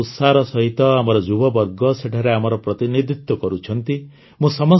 ଅତ୍ୟନ୍ତ ଉତ୍ସାହର ସହିତ ଆମର ଯୁବବର୍ଗ ସେଠାରେ ଆମର ପ୍ରତିନିଧିତ୍ୱ କରୁଛନ୍ତି